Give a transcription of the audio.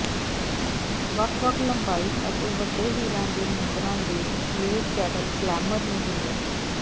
ਵੱਖ ਵੱਖ ਲੰਬਾਈ ਅਤੇ ਵੱਡੇ ਹੀਰਾ ਦੇ ਮੁੰਦਰਾਂ ਦੇ ਗਲੇਡ ਕੈਡੇਲ ਗਲੇਮਰ ਨੂੰ ਜੋੜਿਆ ਗਿਆ